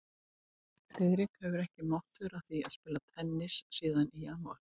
Friðrik hefur ekki mátt vera að því að spila tennis síðan í janúar